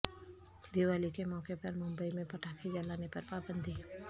دیوالی کے موقع پر ممبئی میں پٹاخے جلانے پر پابندی